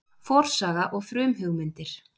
Forsaga og frumhugmyndir